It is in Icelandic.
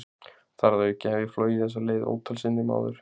Þar að auki hef ég flogið þessa leið ótal sinnum áður.